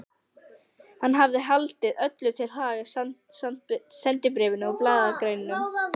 Hann hafði haldið öllu til haga, sendibréfum og blaðagreinum.